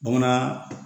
Bamanan